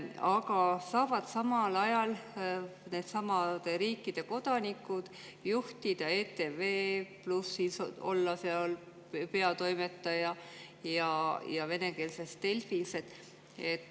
Aga samal ajal saavad nendesamade riikide kodanikud juhtida ETV+, olla seal peatoimetaja, ja venekeelses Delfis ka.